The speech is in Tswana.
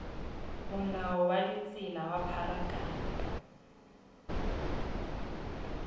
molao wa ditsela wa pharakano